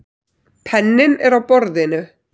Penninn er á borðinu.